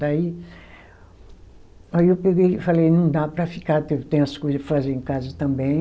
Daí aí eu peguei e falei, não dá para ficar, que eu tenho as coisas para fazer em casa também.